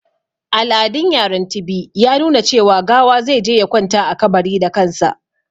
Al'adun yaran Tibi ya nuna cewa gawa zai je ya kwanta a kabari da kansa.